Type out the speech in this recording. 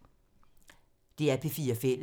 DR P4 Fælles